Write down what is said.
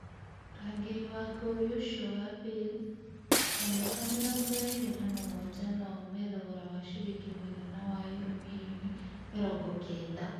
Mũrangĩribwa gori ũcio wa Baze wa mĩaka mĩrongo ĩrĩ na mũgwanja no aume thogora wa ciringi mũigana wa Euro mirioni mĩrongo kenda.